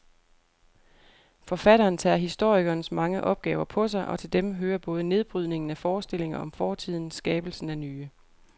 Forfatteren tager historikerens mange opgaver på sig, og til dem hører både nedbrydningen af forestillinger om fortiden skabelsen af nye.